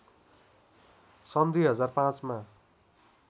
सन् २००५ मा